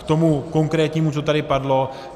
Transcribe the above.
K tomu konkrétnímu, co tady padlo.